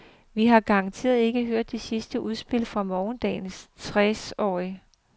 Vi har garanteret ikke hørt det sidste udspil fra morgendagens tresårige.